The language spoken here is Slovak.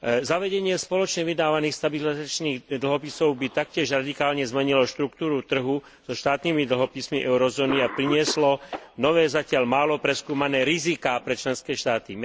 Zavedenie spoločne vydávaných stabilizačných dlhopisov by taktiež radikálne zmenilo štruktúru trhu so štátnymi dlhopismi eurozóny a prinieslo nové, zatiaľ málo preskúmané riziká pre členské štáty.